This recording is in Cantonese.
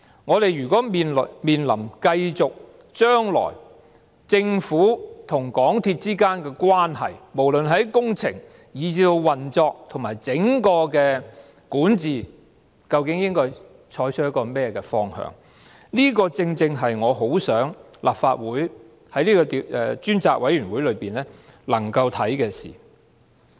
我們面對將來政府和港鐵公司之間的關係，無論是在工程，以至運作和整體管治上，究竟應該採取甚麼方向，這正正是我很想立法會能夠透過專責委員會檢視的事。